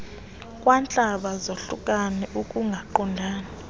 kwantlaba zahlukane ukungaqondani